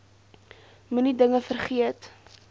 moenie dinge vergeet